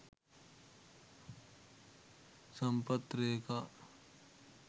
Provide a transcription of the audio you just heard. sampath reka